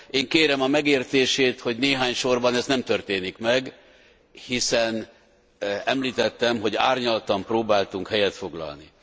Én kérem a megértését, hogy néhány sorban ez nem történik meg, hiszen említettem, hogy árnyaltan próbáltunk állást foglalni.